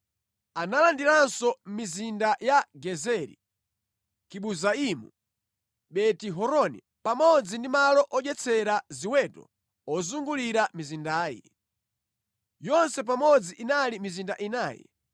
Analandiranso mizinda ya Gezeri, Kibuzaimu, Beti-Horoni pamodzi ndi malo odyetsera ziweto ozungulira mizindayi. Yonse pamodzi inali mizinda inayi.